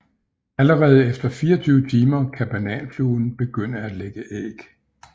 Allerede efter 24 timer kan bananfluen begynde at lægge æg